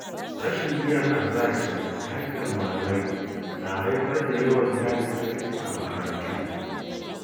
Rashin biyan albashi da haƙƙin malamai na haifar da yawan yajin aiki a makarantu.